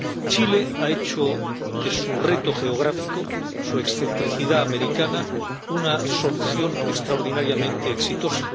Chile ha hecho de su reto geográfico —su excentricidad americana— una solución extraordinariamente exitosa.